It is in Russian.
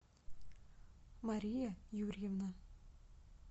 мария юрьевна